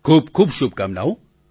ખૂબખૂબ શુભકામનાઓ